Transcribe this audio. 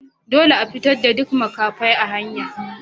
Dolle a fitar da duk makafai a hanya!